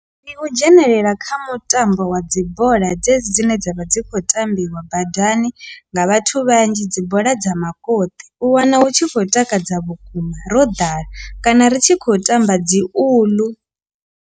Ndi u dzhenelela kha mutambo wa dzi bola dzedzi dzine dzavha dzi kho tambiwa badani nga vhathu vhanzhi dzi bola dza makoti u wana hu tshi khou takadza vhukuma ro ḓala kana ri tshi khou tamba dzi uḽu.